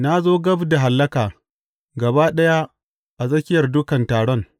Na zo gab da hallaka gaba ɗaya a tsakiyar dukan taron.